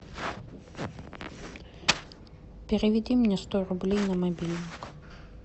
переведи мне сто рублей на мобильник